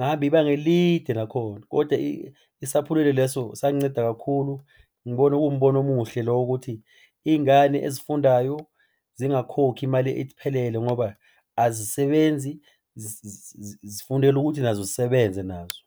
ngahamba ibanga elide nakhona koda isaphulelo leso sanginceda kakhulu. Ngibona kuwumbono umuhle lo wokuthi iy'ngane ezifundayo zingakhokhi imali ephelele ngoba azisebenzi zifundela ukuthi nazo zisebenze nazo.